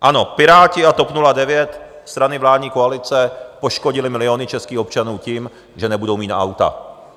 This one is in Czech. Ano, Piráti a TOP 09, strany vládní koalice, poškodily miliony českých občanů tím, že nebudou mít na auta.